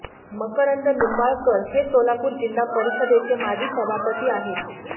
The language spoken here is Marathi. मकरंद निंबाळकर हे सोलापूर जिल्हा परिषदेचे माजी सभापती आहेत